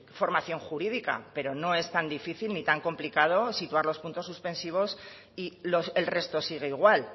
formación jurídica pero no es tan difícil ni tan complicado situar los puntos suspensivos y el resto sigue igual